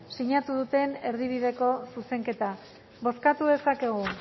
sinatu duten erdibideko zuzenketa bozkatu dezakegu